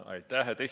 Aitäh!